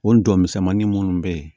O dɔn misɛnmanin munnu be ye